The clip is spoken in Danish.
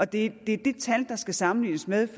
det er det tal der skal sammenlignes med